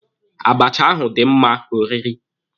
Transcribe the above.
Abacha ahụ dị mma oriri.